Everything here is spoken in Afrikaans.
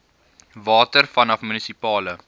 water vanaf munisipale